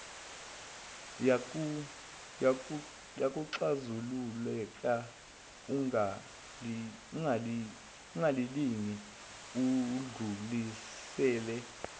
kuyaxazululeka ungalingi udlulisele